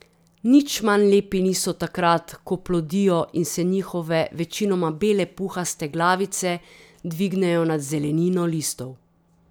Nič manj lepi niso takrat, ko plodijo in se njihove večinoma bele puhaste glavice dvignejo nad zelenino listov.